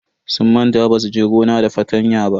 Sun manta basu je gona da fartanya ba.